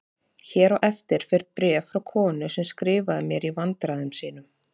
Hér á eftir fer bréf frá konu sem skrifaði mér í vandræðum sínum